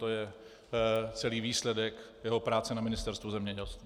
To je celý výsledek jeho práce na Ministerstvu zemědělství. ,